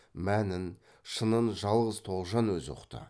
мәнін шынын жалғыз тоғжан өзі ұқты